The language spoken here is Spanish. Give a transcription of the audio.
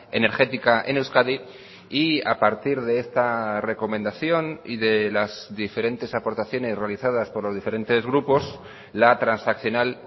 energética en euskadi y a partir de esta recomendación y de las diferentes aportaciones realizadas por los diferentes grupos la transaccional